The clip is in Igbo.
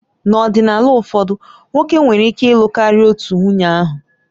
N'ọdịnala ụfọdụ, nwoke nwere ike ịlụ karịa otu nwunye ahụ